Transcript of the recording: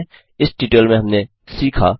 इस ट्यूटोरियल में हमने सीखा 1